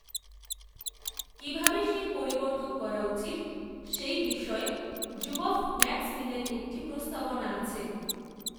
কী ভাবে সেই পরিবর্তন করা উচিত, সে বিষয়ে, জুবফম্যাক্সমিনের একটি, প্রস্তাবনা আছে